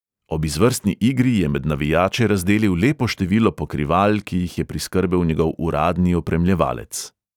Ob izvrstni igri je med navijače razdelil lepo število pokrival, ki jih je priskrbel njegov uradni opremljevalec.